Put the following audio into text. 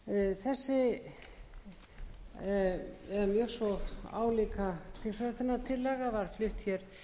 þessi eða mjög svo álíka þingsályktunartillaga var flutt hér